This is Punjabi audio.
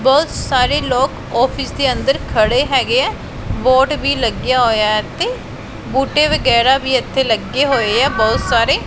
ਬਹੁਤ ਸਾਰੇ ਲੋਕ ਆਫਿਸ ਦੇ ਅੰਦਰ ਖੜੇ ਹੈਗੇ ਐ ਬੋਰਡ ਵੀ ਲੱਗਿਆ ਹੋਇਆ ਐ ਇੱਥੇ ਬੂਟੇ ਵਗੈਰਾ ਵੀ ਇੱਥੇ ਲੱਗੇ ਹੋਏ ਐ ਬਹੁਤ ਸਾਰੇ।